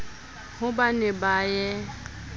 ha ba ne ba ye